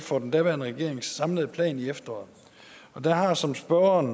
for den daværende regerings samlede plan i efteråret og der har som spørgeren